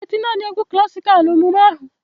Ọ ga-eti naanị egwu klasikal na emume ahụ.